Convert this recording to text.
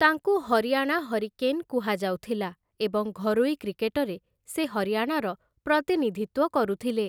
ତାଙ୍କୁ 'ହରିୟାଣା ହରିକେନ୍‌' କୁହାଯାଉଥିଲା ଏବଂ ଘରୋଇ କ୍ରିକେଟରେ ସେ ହରିୟାଣାର ପ୍ରତିନିଧିତ୍ୱ କରୁଥିଲେ ।